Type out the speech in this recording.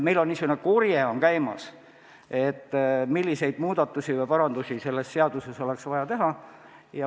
Meil on käimas korje selle kohta, milliseid muudatusi või parandusi oleks selles seaduses vaja teha.